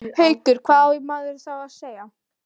Haukur: Hvað á maður þá að segja?